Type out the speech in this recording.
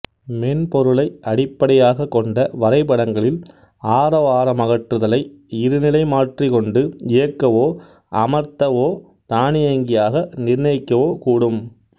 மென்பொருளை அடிப்படையாகக் கொண்ட வரைபடங்களில் ஆரவாரமகற்றுதலை இருநிலைமாற்றி கொண்டு இயக்கவோஅமர்த்தவோதானியங்கியாக நிர்ணயிக்கவோ கூடும்